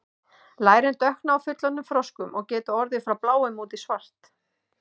lærin dökkna á fullorðnum froskum og geta orðið frá bláum út í svart